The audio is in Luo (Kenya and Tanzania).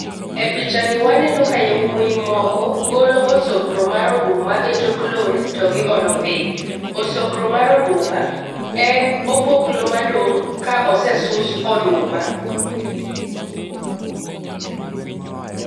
E [picha ni waneno ka jowuoyi moko golo osogro mar oduma e tok lori to giolo piny. Osogro mar oduma en opoklo madong' ka osesus oduma